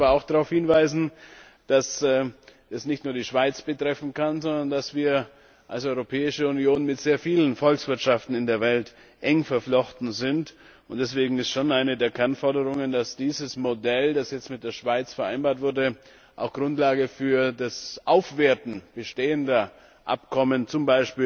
Ich möchte aber auch darauf hinweisen, dass es nicht nur die Schweiz betreffen kann, sondern dass wir als Europäische Union mit sehr vielen Volkswirtschaften in der Welt eng verflochten sind, und deswegen ist schon eine der Kernforderungen, dass dieses Modell, das jetzt mit der Schweiz vereinbart wurde, auch Grundlage für das Aufwerten bestehender Abkommen z.